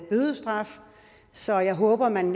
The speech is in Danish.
bødestraf så jeg håber at man